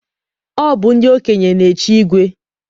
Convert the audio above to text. Ọ bụ ndị okenye na-echi igwe